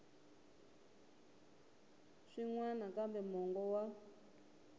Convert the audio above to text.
swin wana kambe mongo wa